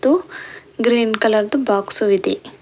ಮತ್ತು green colour ದು box ಇದೆ.